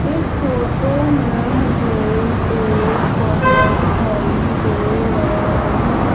इस फोटो में मुझे एक कमरा दिखाई दे रहा है।